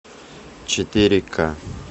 четыре ка